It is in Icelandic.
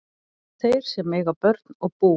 Þeir sem eiga börn og bú